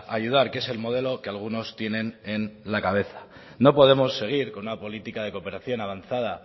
ayudar que es el modelo que algunos tienen en la cabeza no podemos seguir con una política de cooperación avanzada